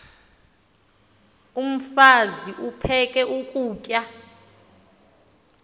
umfaz aphek ukutya